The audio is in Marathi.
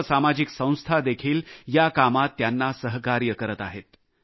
सर्व सामाजिक संस्थादेखील या कामात त्यांना सहकार्य करत आहेत